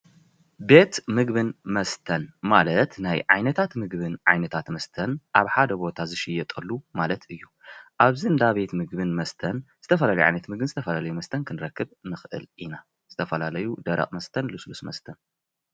ቤት ምግብን መስተን ማለት ናይ ዓይነታት ምግብን ዓይነታት መስተን ኣብ ሓድ ቦታ ዝሽየጠሉ ማለት እዩ። ኣብዚ እንዳ ምግብን መስተን ዝተፈላለዩ ዓይነት ምግብን ዝተፈላለዩ ዓይነት መስተን ክንረክብ ንኽእል ኢና ዝተፈላለዩ ደረቕ መስተን ልስሉስ መስተን ።